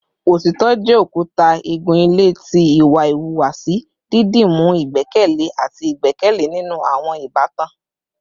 Otitọ jẹ okuta igun-ile ti iwa ihuwasi, didimu igbẹkẹle ati igbẹkẹle ninu awọn ibatan